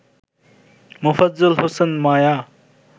Mofazzal Hossain Maya